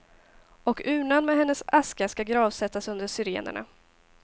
Och urnan med hennes aska ska gravsättas under syrenerna.